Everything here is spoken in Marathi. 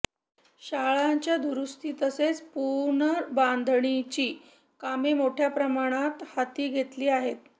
शाळांच्या दुरुस्ती तसेच पुनर्बांधणीची कामे मोठया प्रमाणात हाती घेतली आहेत